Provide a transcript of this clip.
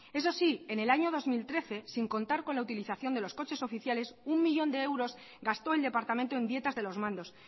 eso sí en el año dos mil trece sin contar con la utilización de los coches oficiales uno millón de euros gastó el departamento en dietas de los mandos